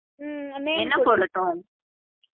உம் என்ன போடட்டும்